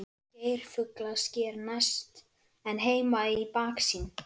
Geirfuglasker næst en Heimaey í baksýn.